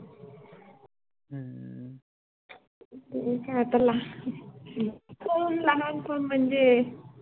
ते आता लहान, हो लहानपण म्हणजे